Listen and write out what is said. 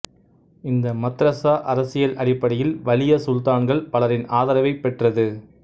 இந்த மத்ரசா அரசியல் அடிப்படையில் வலிய சுல்தான்கள் பலரின் ஆதரவைப் பெற்றது